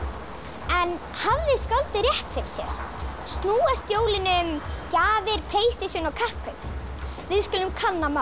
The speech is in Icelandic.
en hafði skáldið rétt fyrir sér snúast jólin um gjafir Playstation og kapphlaup við skulum kanna málið